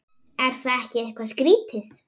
Er það ekki eitthvað skrítið?